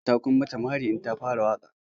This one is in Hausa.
Ku tabbata kun mata mari in ta fara waƙa!